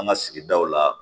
An ka sigidaw la